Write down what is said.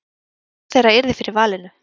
Hvor þeirra yrði fyrir valinu?